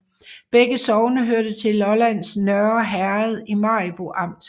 Begge sogne hørte til Lollands Nørre Herred i Maribo Amt